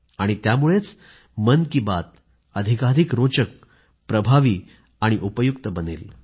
आणि त्यामुळेच मन की बात अधिकाधिक रोचक प्रभावी आणि उपयुक्त बनेल